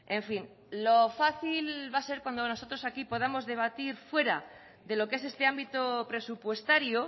en fin lo fácil va a ser cuando nosotros aquí podamos debatir fuera de lo que es este ámbito presupuestario